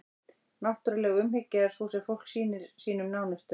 náttúruleg umhyggja er sú sem fólk sýnir sínum nánustu